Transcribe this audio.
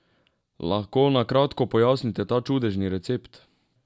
Lahko na kratko pojasnite ta čudežni recept?